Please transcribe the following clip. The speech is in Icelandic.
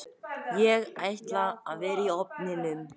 Fóru ofan í gíginn